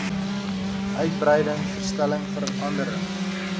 uitbreiding verstelling verandering